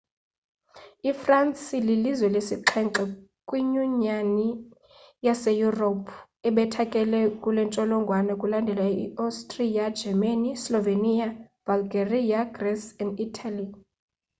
ifransi ililizwe lesixhenxe kwinyunyani yase europe ebethakele kulentsholongwane; kulandele i austria germany, slovenia, bulgaria greece and italy